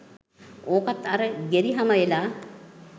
ඕකත් අර ගෙරි හම එලා